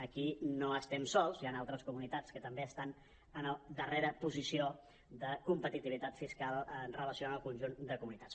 aquí no estem sols hi han altres comunitats que també estan en la darrera posició de competitivitat fiscal amb relació al conjunt de comunitats